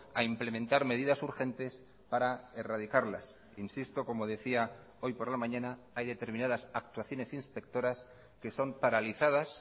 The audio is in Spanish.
a implementar medidas urgentes para erradicarlas insisto como decía hoy por la mañana hay determinadas actuaciones inspectoras que son paralizadas